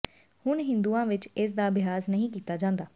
ਹੁਣ ਹਿੰਦੂਆਂ ਵਿਚ ਇਸ ਦਾ ਅਭਿਆਸ ਨਹੀਂ ਕੀਤਾ ਜਾਂਦਾ